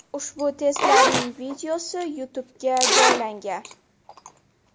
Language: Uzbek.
Ushbu testlarning videosi YouTube’ga joylangan .